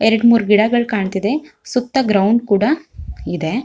ಎರಡ ಮೂರ್ ಗಿಡಗಳು ಕಾಣತ್ತಿದೆ ಸುತ್ತ ಗ್ರೌಂಡ್ ಕೂಡ ಇದೆ.